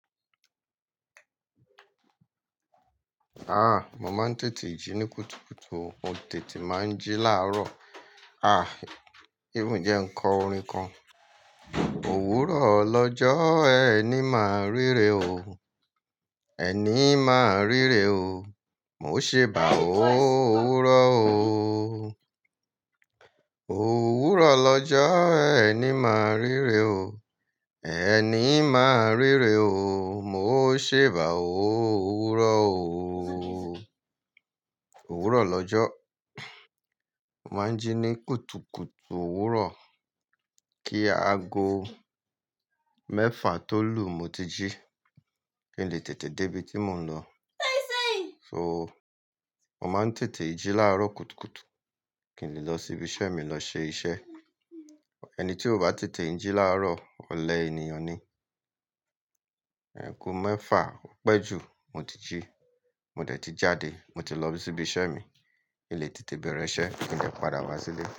Ah, mo máa ń tètè jí ní kùtùkùtù. Mo tètè máa ń jí láàárọ̀. Ah, even jẹ́ ǹ kọ orin kan. Òwúrọ̀ lọ́jọ́, ẹni máa ń rire o. Ẹni máa ń rere o. Mo ṣé bá o. Òwúrọ̀ o. Òwúrọ̀ lọ́jọ́, ẹni máa ń rere o. Ẹni máa ń rere o. Mo ṣé bá o. Òwúrọ̀ o. Òwúrọ̀ lọ́jọ́. Mo máa ń jí ní kùtùkùtù Òwúrọ̀. Kí aago mẹ́fà tó lù, mo ti jí. Kí n lè tètè dé ibi tí mò ń lọ. So, mo máa ń tètè jí láàárọ̀ kùtùkùtù kí n lè lọ síbí iṣẹ́ mi lọ ṣe iṣẹ́. Ẹni tí ò bá tètè ń jí láàárọ̀, ọ̀lẹ ènìyàn ni. Àgó mẹ́fà opẹ́ jù, mo ti jí. Mo dẹ̀ ti jáde. Mo ti lọ síbí iṣẹ́ mi. Kí n lè tètè bẹ̀rẹ̀ iṣẹ́ kí n lè padà wá sílé.